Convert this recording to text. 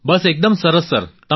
બસ એકદમ સરસ સર